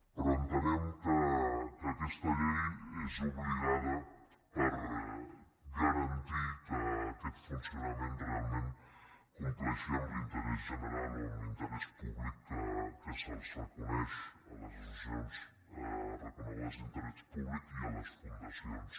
però entenem que aquesta llei és obligada per garantir que aquest funcionament realment compleixi amb l’interès general o amb l’interès públic que se’ls reconeix a les associacions reconegudes d’interès públic i a les fundacions